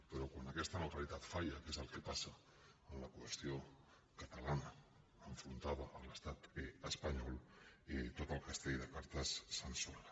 però quan aquesta neutralitat falla que és el que passa en la qüestió catalana enfrontada a l’estat espanyol tot el castell de cartes s’ensorra